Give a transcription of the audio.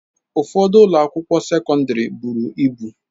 Ụfọdụ ụlọ akwụkwọ sekọndrị buru ibu.